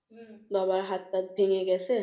বাবার হাতটা ভেঙ্গে গেছে।